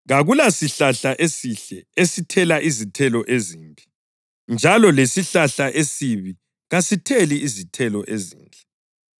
“Kakulasihlahla esihle esithela izithelo ezimbi njalo lesihlahla esibi kasitheli izithelo ezinhle.